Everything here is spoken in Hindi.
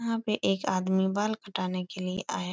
वहाँ पे एक आदमी बाल कटाने के लिए आया --